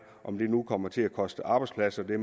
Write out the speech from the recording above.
om det nu kommer til at koste arbejdspladser det